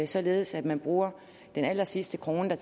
således at man bruger den allersidste krone der